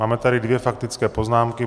Máme tady dvě faktické poznámky.